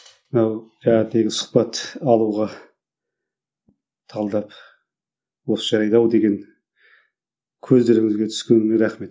мынау таңертеңгі сұхбат алуға талдап осы жайлы ау деген көздеріңізге түскеніме рахмет